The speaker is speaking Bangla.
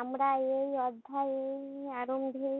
আমরা এই অধ্যায়ের আরম্ভে